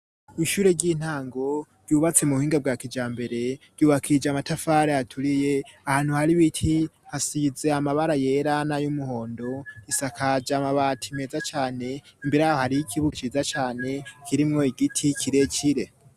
Mw' ishure ry'intango ryubatse mu buhinga bwa kijambere ryubakije amatafare aturiye ahantu hari biti hasiyize amabara yera na y'umuhondo isakaja amabati meza cane imbere aho hari y'ikibugo ciza cane kirimwo igiti kirekire.